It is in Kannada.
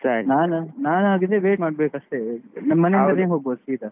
ನಾನಾಗಿದ್ರೆ wait ಮಾಡ್ಬೇಕು ಅಷ್ಟೆ, ಮನೆ ಇಂದನೆ ಹೊಗ್ಬೋದು ಸೀದಾ.